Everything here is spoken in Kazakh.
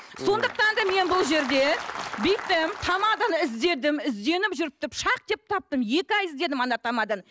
сондықтан да мен бұл жерде бүйттім тамаданы іздедім ізденіп жүріп деп таптым екі ай іздедім ана тамаданы